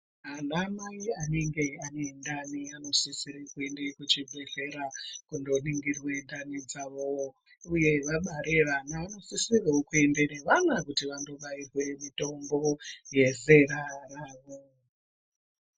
Anamai anenge ane ndani anosisire kuenda kuzvibhedhlera kundoningirwe ndani dzavo uye vabare vana vanosisirewo kuende nevana kuti vandobairwe mitombo yezera ravo.